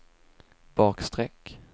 bakstreck